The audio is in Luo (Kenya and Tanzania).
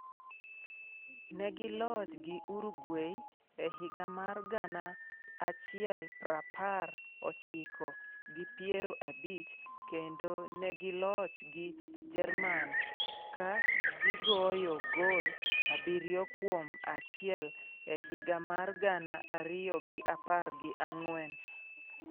Negiloch gi Uruguay e higa mar gana achiel prapar ochiko gi piero abich kendo negiloch gi Jerman ka gigoyo gol abiriyo kuom achiel e higa mar gana ariyo gi apar gi ang'wen.